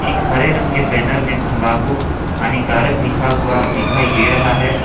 एक हरे रंग के बैनर में तंबाकू हानिकारक लिखा हुआ दिखाई दे रहा है।